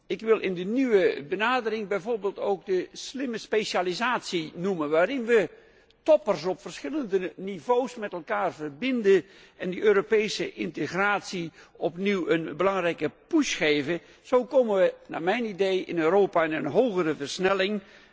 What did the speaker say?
Ik wil in die nieuwe benadering ook de slimme specialisatie noemen waarin wij toppers op verschillende niveaus met elkaar verbinden en die Europese integratie opnieuw een belangrijke impuls geven. Zo komen wij naar mijn idee in Europa in een hogere versnelling.